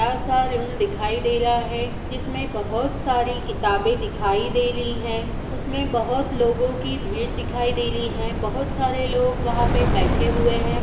अलसा लूम दिखाई दे ला है जिसमे बहुत साडी किताबे दिखाई दे रही हैं जिसमे बहुत लोगो की भीड़ दिखाई दे ली हैं बहुत सारे लोग वहां पे बैठे हुए है।